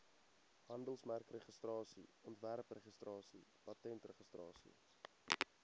handelsmerkregistrasie ontwerpregistrasie patentregistrasie